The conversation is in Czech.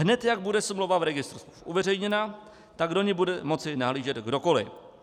Hned jak bude smlouva v registru smluv uveřejněna, tak do ní bude moci nahlížet kdokoli.